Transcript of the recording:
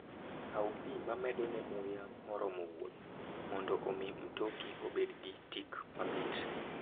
Kaw pi mamedone muya moromo wuoth, mondo omi mtoki obed gi tik mamit.